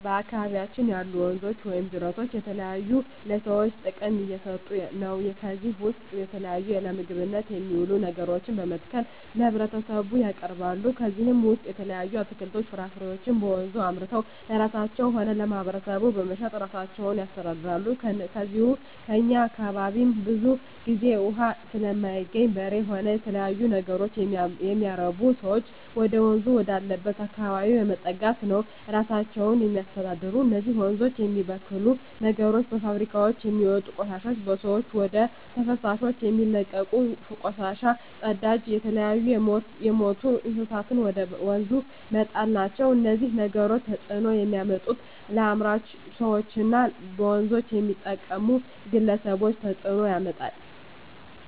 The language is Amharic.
በአካባቢያችን ያሉ ወንዞች ወይም ጅረቶች ለተለያዩ ለሰዎች ጥቅም እየሠጡ ነው ከዚህ ውስጥ የተለያዩ ለምግብነት የሚውሉ ነገሮችን በመትከል ለህብረተሰቡ ያቀርባሉ ከነዚህም ውሰጥ የተለያዩ አትክልቶች ፍራፍሬዎችን በወንዙ አምርተው ለራሳቸው ሆነ ለማህበረሰቡ በመሸጥ እራሳቸውን ያስተዳድራሉ ከዚው ከእኛ አካባቢም ብዙ ግዜ እውሃ ስለማይገኝ በሬ ሆነ የተለያዩ ነገሮች የሚያረቡ ሰዎች ወደወንዝ ወዳለበት አካባቢ በመጠጋት ነው እራሳቸውን የሚያስተዳድሩ እነዚህ ወንዞች የሚበክሉ ነገሮች በፋብሪካውች የሚወጡ ቆሻሾች በሰዎች ወደ ተፋሰሶች የሚለቀቁ ቆሻሻ ጽዳጅ የተለያዩ የምቱ እንስሳትን ወደ ወንዙ መጣል ናቸው እነዚህ ነገሮች ተጽዕኖ የሚያመጡት ለአምራች ሰዎች እና በወንዞች ለሚጠቀሙ ግለሰቦች ተጽእኖ ያመጣል